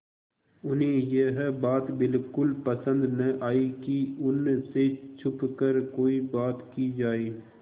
उन्हें यह बात बिल्कुल पसन्द न आई कि उन से छुपकर कोई बात की जाए